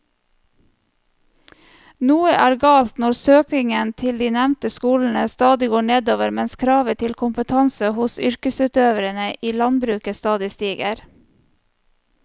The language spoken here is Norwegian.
Noe er galt når søkningen til de nevnte skolene stadig går nedover mens kravet til kompetanse hos yrkesutøverne i landbruket stadig stiger.